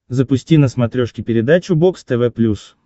запусти на смотрешке передачу бокс тв плюс